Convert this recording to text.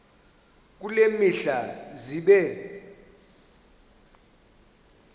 kule mihla zibe